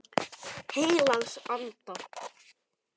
Heilags Anda.